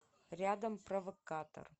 рядом провокатор